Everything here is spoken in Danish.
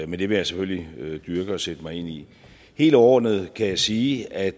men det vil jeg selvfølgelig dyrke og sætte mig ind i helt overordnet kan jeg sige at